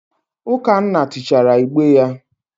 Ukanna tichaara igbe ya.